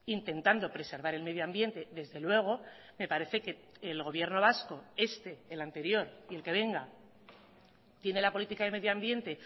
intentando preservar el medioambiente desde luego me parece que el gobierno vasco este el anterior y el que venga tiene la política de medioambiente